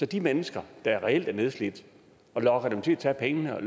de mennesker der reelt er nedslidt lokker man til at tage pengene og